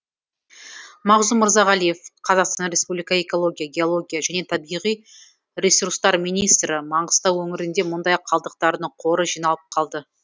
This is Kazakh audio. мағзұм мырзағалиев қазақстан республика экология геология және табиғи ресурстар министрі маңғыстау өңірінде мұндай қалдықтарының қоры жиналып қалды